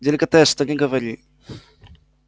деликатес что ни говори